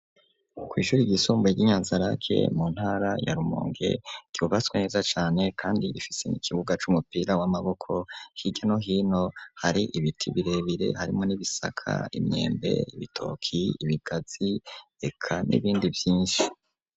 kw'ishure ry'isumbuye ry'inyanzarake mu ntara ya rumonge kbaswe neza cyane kandi ifise mu ikibuga c'umupira w'amaboko higeno hino hari ibiti birebire harimo n'ibisaka imyembe bitoki ibigazi reka n'ibindi vyinshi.